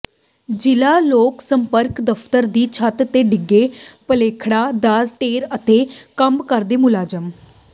ਜ਼ਿਲ੍ਹਾ ਲੋਕ ਸੰਪਰਕ ਦਫ਼ਤਰ ਦੀ ਛੱਤ ਦੇ ਡਿੱਗੇ ਖਲੇਪੜਾਂ ਦਾ ਢੇਰ ਅਤੇ ਕੰਮ ਕਰਦੇ ਮੁਲਾਜ਼ਮ